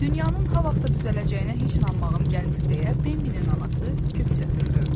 Dünyanın ha vaxtsa düzələcəyinə heç inanmağım gəlmir deyə Bambinin anası köks ötürdü.